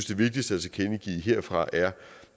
det vigtigste at tilkendegive herfra er